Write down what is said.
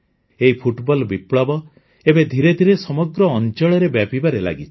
ଏଇ ଫୁଟବଲ ବିପ୍ଳବ ଏବେ ଧିରେ ଧିରେ ସମଗ୍ର ଅଞ୍ଚଳରେ ବ୍ୟାପିବାରେ ଲାଗିଛି